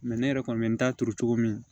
ne yɛrɛ kɔni bɛ n ta turu cogo min